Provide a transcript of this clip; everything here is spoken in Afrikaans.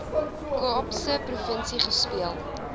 kaapse provinsie gespeel